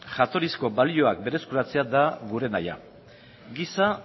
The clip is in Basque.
jatorrizko balioak berreskuratzea da gure nahia giza